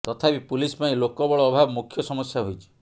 ତଥାପି ପୁଲିସ ପାଇଁ ଲୋକବଳ ଅଭାବ ମୁଖ୍ୟ ସମସ୍ୟା ହୋଇଛି